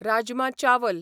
राजमा चावल